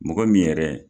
Mɔgɔ min yɛrɛ